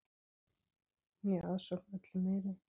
Né aðsókn öllu meiri.